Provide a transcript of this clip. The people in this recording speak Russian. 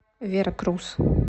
веракрус